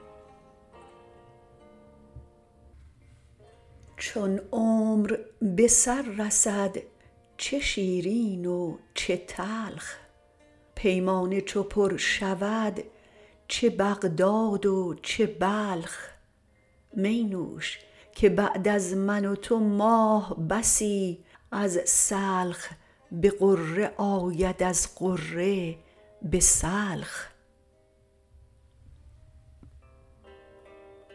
چون عمر به سر رسد چه شیرین و چه تلخ پیمانه چو پر شود چه بغداد و چه بلخ می نوش که بعد از من و تو ماه بسی از سلخ به غره آید از غره به سلخ